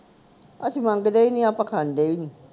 ਅਸੀਂ ਮੰਗਦੇ ਈ ਨੀ ਆਪਾ ਖਾਂਦੇ ਵੀ ਨੀ